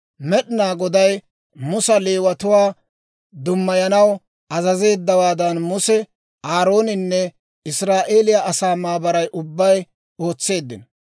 Med'inaa Goday Musa Leewatuwaa dummayanaw azazeeddawaadan Muse, Aarooninne Israa'eeliyaa asaa maabaray ubbay ootseeddino.